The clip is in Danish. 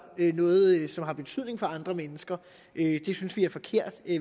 noget som har betydning for andre mennesker vi synes det er forkert